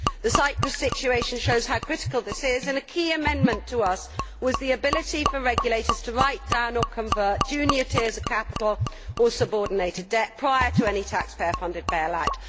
The Cyprus situation shows how critical this is, and a key amendment, to us, was the ability for regulators to write down or convert junior tiers of capital or subordinated debt prior to any taxpayer funded bailout.